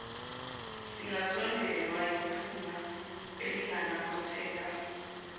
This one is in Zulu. ingasondelwa yiphunga elinganamathela